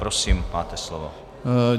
Prosím, máte slovo.